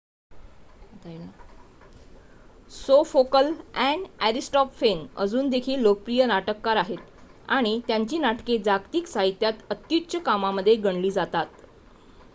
सोफोकल आणि अरिस्टॉपफेन अजून देखील लोकप्रिय नाटककार आहेत आणि त्यांची नाटके जागतिक साहित्यात अत्युच्च कामामध्ये गणली जातात